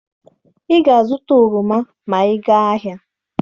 Ị ga-azụta oroma ma ị gaa ahịa!